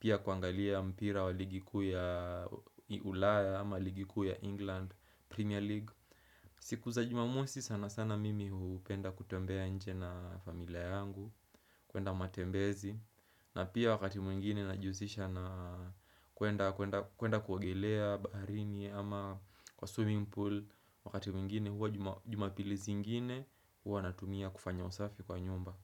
pia kuangalia mpira wa ligi kuu ya ulaya ama ligi kuu ya England Premier League. Siku za jumamosi sana sana mimi hupenda kutembea nje na familia yangu, kuenda matembezi, na pia wakati mwingine najihusisha na kuenda kuogelea baharini ama kwa swimming pool. Wakati mwingine huwa jumapili zingine huwa natumia kufanya usafi kwa nyumba.